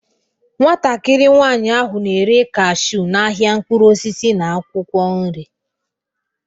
Nwatakịrị nwanyị ahụ na-ere cashew n'ahịa mkpụrụ osisi na akwụkwọ nri